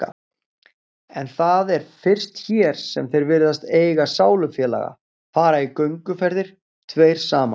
En það er fyrst hér sem þeir virðast eiga sálufélag, fara í gönguferðir tveir saman